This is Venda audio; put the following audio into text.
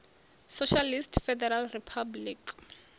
socialist federal republic